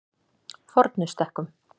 Fornustekkum